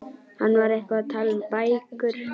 Hann var eitthvað að tala um bækur.